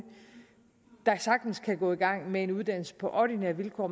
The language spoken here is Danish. der sagtens kan gå i gang med en uddannelse på ordinære vilkår